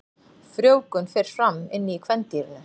Frjóvgun fer fram inni í kvendýrinu.